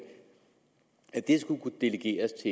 at det skulle kunne delegeres